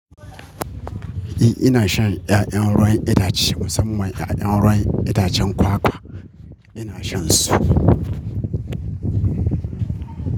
Eh ina shan ya'yan ruwan itace musamman ya'yan ruwan itacen kwakwa ina shan su.